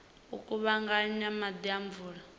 u kuvhanganya maḓi a mvula